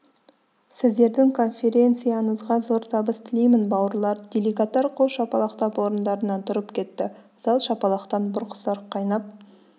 сіздердің конференцияңызға зор табыс тілеймін бауырлар делегаттар қол шапалақтап орындарынан тұрып кетті зал шапалақтан бұрқ-сарқ қайнап